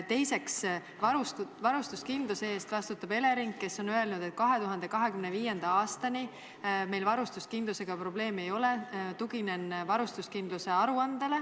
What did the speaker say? Teiseks, varustuskindluse eest vastutab Elering, kes on öelnud, et 2025. aastani meil varustuskindlusega probleemi ei ole .